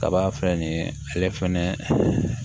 Kaba filɛ nin ale fɛnɛ